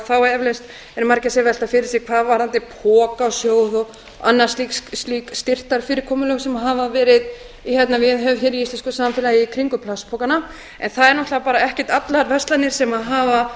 þá eflaust eru margir sem velta sér hvað varðandi pokasjóð og annað slíkt styrktarfyrirkomulag sem hefur verið viðhaft hér í íslensku samfélagi í kringum plastpokana en það eru náttúrlega bara ekkert allar verslanir sem hafa